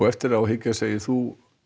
eftir á að hyggja segir þú